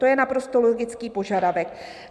To je naprosto logický požadavek.